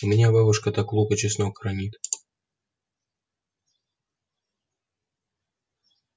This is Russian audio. у меня бабушка так лук и чеснок хранит